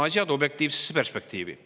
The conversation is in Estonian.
Asetame asjad objektiivsesse perspektiivi.